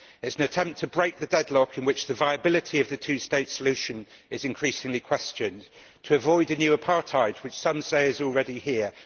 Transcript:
It is an attempt to break the deadlock in which the viability of the two state solution is increasingly questioned to avoid a new apartheid, which some say is already here.